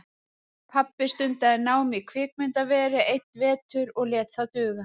Pabbi stundaði nám í kvikmyndaveri einn vetur og lét það duga.